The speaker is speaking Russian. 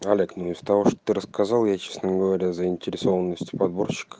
олег ну из того что ты рассказал я честно говоря заинтересованностью подборщика